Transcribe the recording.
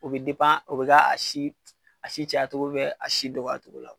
O be o be k'a si a si cɛ a cogo bɛ a si don cogo la.